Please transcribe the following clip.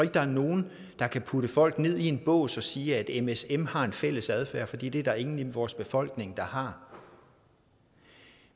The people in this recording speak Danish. der er nogen der kan putte folk ned i en bås og sige at msm har en fælles adfærd for det det er der ingen i vores befolkning der har